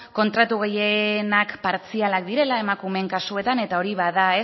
kontratu gehienak partzialak direla emakumeen kasuetan eta hori bada